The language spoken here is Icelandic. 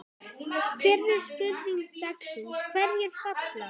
Fyrri spurning dagsins: Hverjir falla?